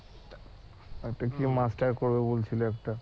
আরেকটা কি মাস্টার্স করবে বলছিল আরেকটা